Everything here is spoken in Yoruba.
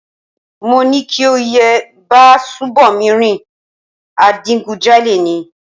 Mo ní kí o yé bá Ṣùbòmí rìn, adigunjalè ni